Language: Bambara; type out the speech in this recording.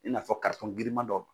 I n'a fɔ giriman dɔ.